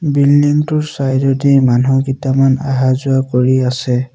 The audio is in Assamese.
বিল্ডিং টোৰ চাইড এ দি মানুহ কিটামান অহা যোৱা কৰি আছে।